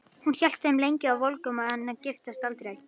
Hún hélt þeim lengi volgum en giftist aldrei.